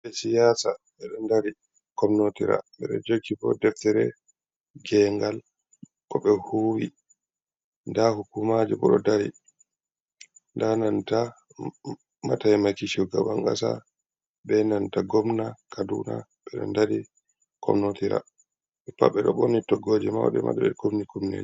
Ɓibɓee siyaasa ɓeɗo ndari komnotira ɓeɗo joogibo deftere gengal koɓe huuwi. Nda hukumajobo ɗo dari, nda nanta mataimaki shugaban kasa benanta gomna kaduna, ɓeɗo ndari komnotira. ɓepat ɓeɗoo ɓorni toggooje mauɗee ɓeɗon kumni Kifneeje.